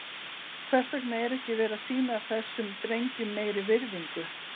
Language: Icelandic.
Hvers vegna er ekki verið að sýna þessum drengjum meiri virðingu?